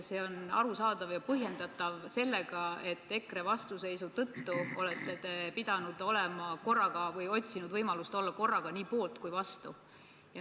See on arusaadav ja põhjendatav sellega, et EKRE vastuseisu tõttu olete pidanud olema korraga või otsima võimalust olla korraga nii poolt kui ka vastu.